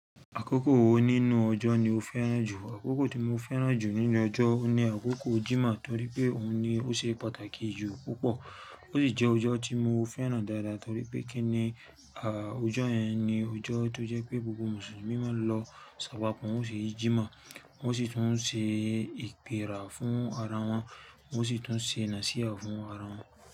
Àkókò wo nínú ọjọ́ ni o fẹ́ràn jù? Àkókò tí mo fẹ́ràn jù nínú ọjọ́ ni àkókò Jímoh torí pé òun ni ó ṣe pàtàkì jù púpọ̀. Ó sì jẹ́ ọjọ́ tí mo fẹ́ràn dáadáa torí pé kíni, à, ọjọ́ yẹn ni ọjọ́ tó jẹ́ pé gbogbo Mùsùlùmí máa ń lọ ṣàpapọ̀, wọ́n ó ṣe Jímoh wọ́n sì tún ń ṣe ìpèrà fún ara wọn, wọ́n sì tún ń ṣe Nàṣíà fún ara wọn.